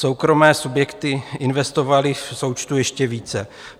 Soukromé subjekty investovaly v součtu ještě více.